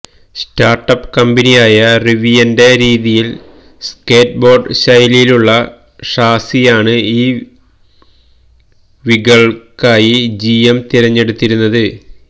start up കമ്പനിയായ റിവിയന്റെ രീതിയിൽ സ്കേറ്റ് ബോർഡ് ശൈലിയിലുള്ള ഷാസിയാണ് ഇ വികൾക്കായി ജി എം തിരഞ്ഞെടുത്തിരിക്കുന്നത്